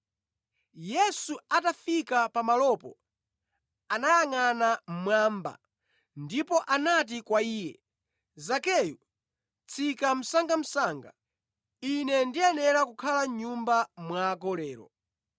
Yesu atafika pa malopo, anayangʼana mmwamba ndipo anati kwa iye, “Zakeyu, tsika msangamsanga. Ine ndiyenera kukhala mʼnyumba mwako lero.”